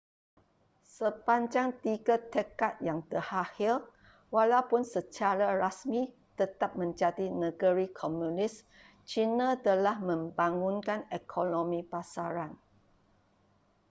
sepanjang tiga dekad yang terakhir walaupun secara rasmi tetap menjadi negeri komunis cina telah membangunkan ekonomi pasaran